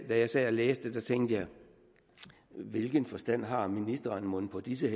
da jeg sad og læste det tænkte jeg hvilken forstand har ministeren mon på disse